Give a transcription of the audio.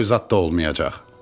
Toy zad da olmayacaq.